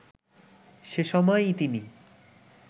সেসময় ই তিনি